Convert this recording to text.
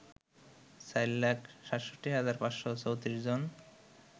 ৪ লাখ ৬৭ হাজার ৫৩৪ জন